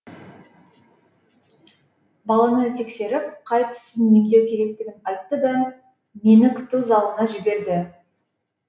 баланы тексеріп қай тісін емдеу керектігін айтты да мені күту залына жіберді